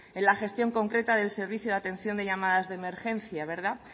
en la gestión concreta del servicio de atención de llamadas de emergencia